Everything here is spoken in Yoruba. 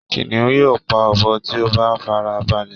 Kìnìún yóò pa ọbọ tí ó bá farabalẹ̀